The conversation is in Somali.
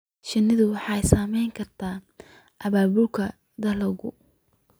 Shinnidu waxay saamayn kartaa abaabulka dalagga.